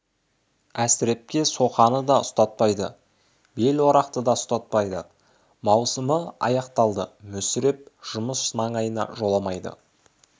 әсірепке соқаны да ұстатпайды бел-орақты да ұстатпайды маусымы аяқталды мүсіреп жұмыс маңайына жоламайды